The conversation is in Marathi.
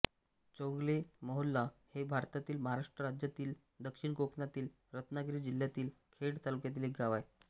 चौगले मोहोल्ला हे भारतातील महाराष्ट्र राज्यातील दक्षिण कोकणातील रत्नागिरी जिल्ह्यातील खेड तालुक्यातील एक गाव आहे